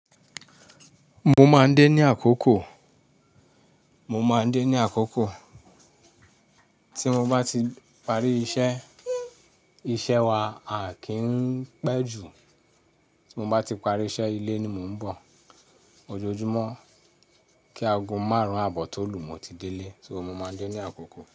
Mo máa ń dé ní àkókò, mo máa ń dé ní àkókò tí mo bá ti parí iṣẹ́. Iṣẹ́ wa a kì í pẹ́ ju. Tí mo bá ti parí iṣẹ́ ilé ni mo ń bọ̀.ojoojúmọ́. Kí aago márùn-ún àbọ̀ tó lù ú, mo ti délé. So mo máa ń dé ní àkókò.